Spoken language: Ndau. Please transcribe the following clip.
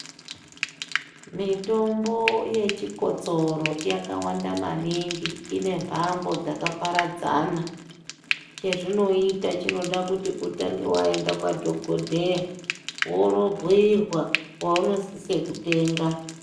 Mitombo ye chikotsoro yaka wanda maningi ine mbando dzaka paradzana che zvinoita chinoda kuti utange waenda kwa dhokodheya wondo bhiirwa pauno sisa kutenga.